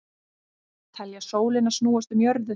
Telja sólina snúast um jörðu